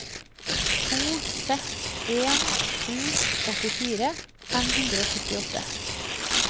to seks en sju åttifire fem hundre og syttiåtte